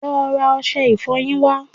Lọ́ ra ọṣẹ ìfọyín wá